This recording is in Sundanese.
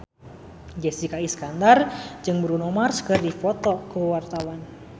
Jessica Iskandar jeung Bruno Mars keur dipoto ku wartawan